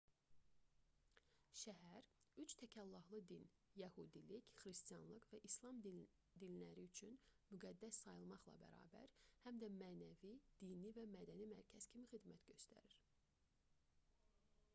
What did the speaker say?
şəhər üç təkallahlı din — yəhudilik xristianlıq və i̇slam dinləri üçün müqəddəs sayılmaqla bərabər həm də mənəvi dini və mədəni mərkəz kimi xidmət göstərir